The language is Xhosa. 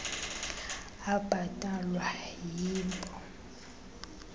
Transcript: abhatalwa yii npo